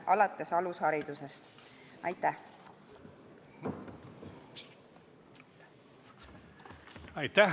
Aitäh!